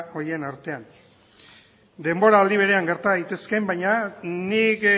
horien artean denboraldi berean gerta daitezke baina nik